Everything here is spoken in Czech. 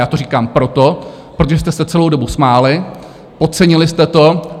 Já to říkám proto, protože jste se celou dobu smáli, podcenili jste to.